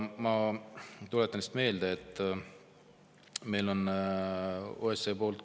Ma tuletan meelde, et meile on tulemas OSCE raport.